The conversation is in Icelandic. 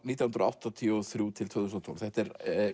nítján hundruð áttatíu og þrjú til tvö þúsund og tólf þetta er